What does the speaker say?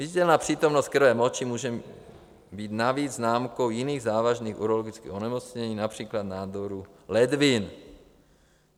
Viditelná přítomnost krve v moči může být navíc známkou jiných závažných urologických onemocnění, například nádoru ledvin.